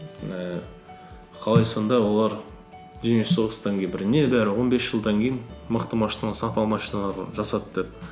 ііі қалай сонда олар дүние жүзі соғыстан кейін бір не бары он бес жылдан кейін мықты машиналар сапалы машиналар жасады деп